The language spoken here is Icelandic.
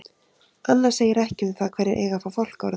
Annað segir ekki um það hverjir eiga að fá fálkaorðu.